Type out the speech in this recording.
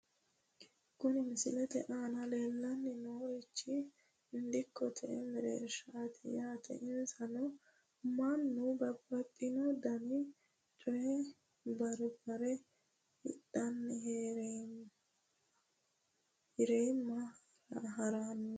Kuni misilete aana leellanni noorichi dikkote mereershaati yaate isino mannu babbaxino dani coye abbire hidhenna hirame haranno dargaati yaate ,